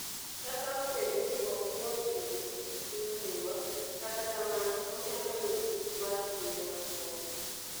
Kata obedo ni ok yot yudo tich e piny Dhiwa, kata kamano, onyalo yudo tich mar kinde machuok.